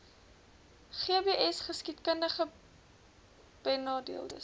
gbsgeskiedkundigbenadeeldes